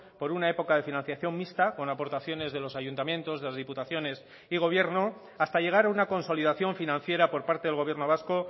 por una época de financiación mixta con aportaciones de los ayuntamientos de las diputaciones y gobierno hasta llegar a una consolidación financiera por parte del gobierno vasco